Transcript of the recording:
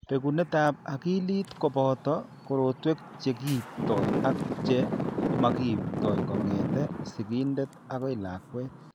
Bekunetab akilit ko boto korotwek che kiipto ak che makiipto kong'etke sigindet akoi lakwet.